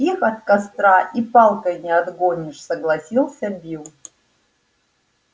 их от костра и палкой не отгонишь согласился билл